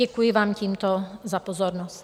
Děkuji vám tímto za pozornost.